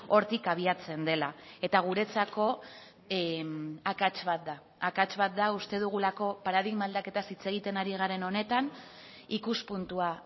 hortik abiatzen dela eta guretzako akats bat da akats bat da uste dugulako paradigma aldaketaz hitz egiten ari garen honetan ikuspuntua